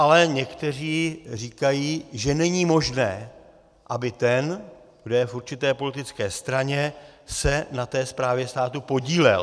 Ale někteří říkají, že není možné, aby ten, kdo je v určité politické straně, se na té správě státu podílel.